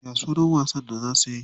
Ya sunan wasan da za suyi?